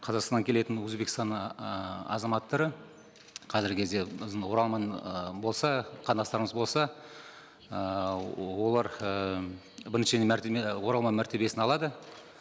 қазақстанға келетін өзбекстан ыыы азаматтары қазіргі кезде біздің оралман ы болса қандастарымыз болса ыыы олар ііі бірінші мәртебе оралман мәртебесін алады